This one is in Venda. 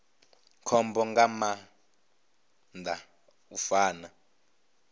khombo nga maanḓa u fana